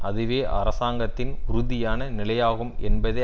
அதுவே அரசாங்கத்தின் உறுதியான நிலையாகும் என்பதை